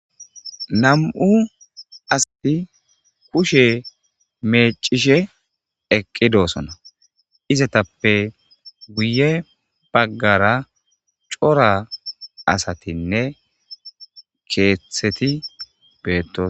nam7u asati kushe meecishe eqqidoosona izatappe guye baggara cora asatinne keeththeti beettos